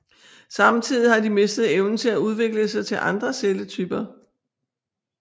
Samtidig har de mistet evnen til at udvikle sig til andre celletyper